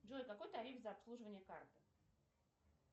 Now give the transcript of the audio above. джой какой тариф за обслуживание карты